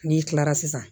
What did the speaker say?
N'i kilara sisan